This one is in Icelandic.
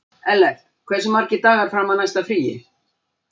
Ellert, hversu margir dagar fram að næsta fríi?